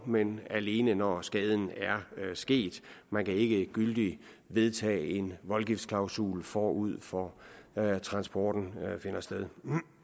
men alene når skaden er sket man kan ikke gyldigt vedtage en voldgiftsklausul forud for at transporten finder sted